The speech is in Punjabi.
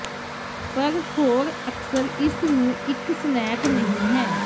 ਪਰ ਹੋਰ ਅਕਸਰ ਇਸ ਨੂੰ ਇੱਕ ਸਨੈਕ ਨਹੀ ਹੈ